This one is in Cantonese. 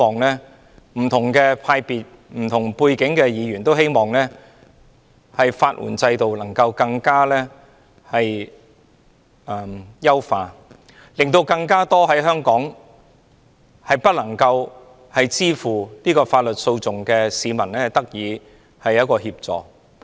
不同派別和不同背景的議員也希望能夠優化法援制度，令更多無法支付法律訴訟的香港市民得到協助。